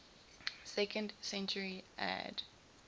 second century ad